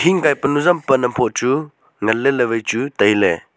hing kai pa nu zam pan am phoh chu ngan ley ley vai chu tailey.